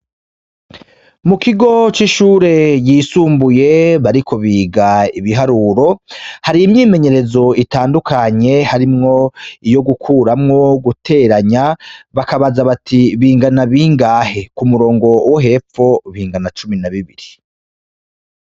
Mukigo c'ishure yisumbuye bariko biga ibiharuro, hari imyimenyerezo itandukanye harimwo iyo gukuramwo, guteranya, bakabaza bati bingana bingahe? k'umurongo wo hepfo bingana cumi na bibiri.